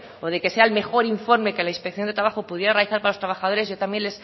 o de que sea el mejor informe que la inspección de trabajo pudiera realizar para los trabajadores yo también